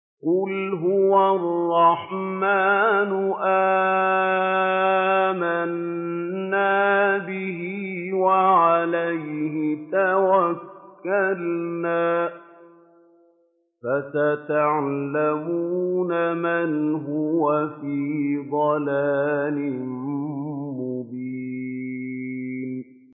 قُلْ هُوَ الرَّحْمَٰنُ آمَنَّا بِهِ وَعَلَيْهِ تَوَكَّلْنَا ۖ فَسَتَعْلَمُونَ مَنْ هُوَ فِي ضَلَالٍ مُّبِينٍ